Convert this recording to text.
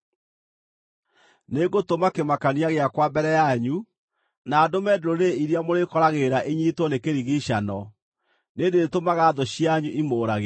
“Nĩngũtũma kĩmakania gĩakwa mbere yanyu, na ndũme ndũrĩrĩ iria mũrĩĩkoragĩrĩra inyiitwo nĩ kĩrigiicano. Nĩndĩtũmaga thũ cianyu imũũragĩre.